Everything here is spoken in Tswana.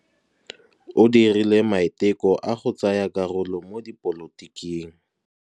O dirile maitekô a go tsaya karolo mo dipolotiking.